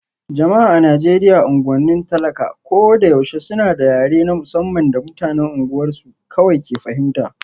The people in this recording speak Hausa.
Jama'a a Najeriya unguwannin talak a ko da yaushe suna da yare na musamman da mutanen unguwarsu kawai ke fahimta